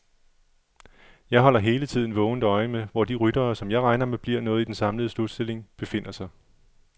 Jeg holder hele tiden vågent øje med, hvor de ryttere, som jeg regner med bliver noget i den samlede slutstilling, befinder sig.